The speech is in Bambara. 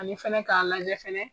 Ani fɛnɛ k'a lajɛ fɛnɛ.